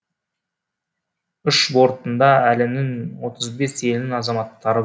ұшақ бортында әлемнің отыз бес елінің азаматтары